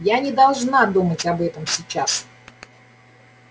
я не должна думать об этом сейчас